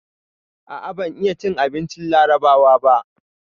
A'a, ban iya cin abincin Larabawa ba.